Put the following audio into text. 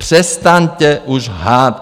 Přestaňte už lhát.